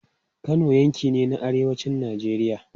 Kano yanki ne na arewacin Najeriya.